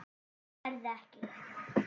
Berð ekki.